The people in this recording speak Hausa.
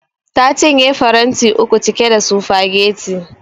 Ta cinye faranti uku cike da sufageti